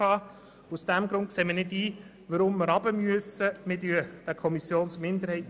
Wir sehen nicht ein, warum diese Dauer verkürzt werden sollte.